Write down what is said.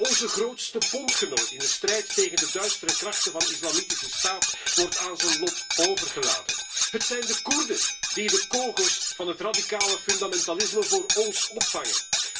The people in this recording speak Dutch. Onze grootste bondgenoot in de strijd tegen de duistere krachten van Islamitische Staat wordt aan zijn lot overgelaten. Het zijn de Koerden die de kogels van het radicale fundamentalisme voor ons opvangen.